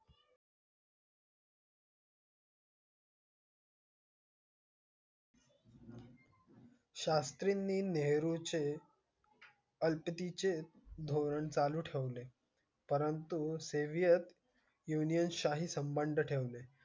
शास्त्रींनी नेहरूं चे. अल्टी चे धोरण चालू ठेवले. परंतु से shaviour union शाही संबंध ठेवले.